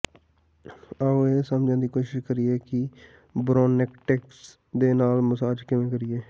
ਆਓ ਇਹ ਸਮਝਣ ਦੀ ਕੋਸ਼ਿਸ਼ ਕਰੀਏ ਕਿ ਬ੍ਰੌਨਕਾਇਟਿਸ ਦੇ ਨਾਲ ਮਸਾਜ ਕਿਵੇਂ ਕਰੀਏ